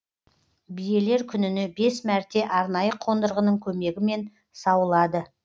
биелер күніне бес мәрте арнайы қондырғының көмегімен сауылады